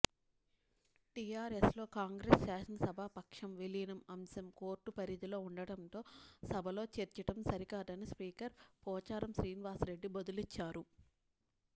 టీఆర్ఎస్లో కాంగ్రెస్ శాసనసభాపక్షం విలీనం అంశం కోర్టు పరిధిలో ఉండడంతో సభలో చర్చించడం సరికాదని స్పీకర్ పోచారం శ్రీనివాస్రెడ్డి బదులిచ్చారు